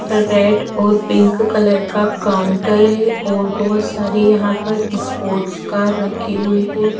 Red और pink colour का counter है और बहोत सारे यहां पर स्पोर्ट्स कार रखी हुई है।